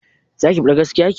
Zaki faɗi gaskiya ki?